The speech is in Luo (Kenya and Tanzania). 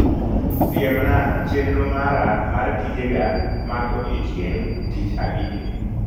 Siemna chenro mara mar tijega mag odiechieng' tich abijni.